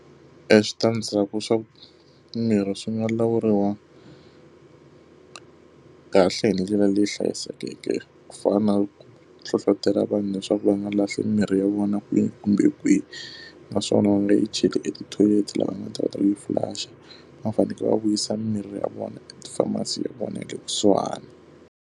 Eswitandzhaku swa mimirhi swi nga lawuriwa kahle hi ndlela leyi hlayisekeke, ku fana na ku hlohletela vanhu leswaku va nga lahli mimirhi ya vona kwihi kumbe kwihi. Naswona na leyi cheli etithoyileti laha nga ta kota ku yi flush-a, va fanekele va vuyisa mimirhi ya vona eka ti-pharmacy ya vona ya kusuhani.